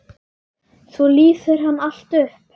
Svo lýsir hann allt upp.